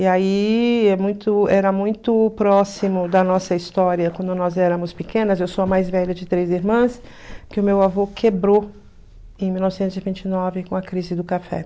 E aí, é muito era muito próximo da nossa história, quando nós éramos pequenas, eu sou a mais velha de três irmãs, que o meu avô quebrou em mil novecentos e vinte e nove, com a crise do café.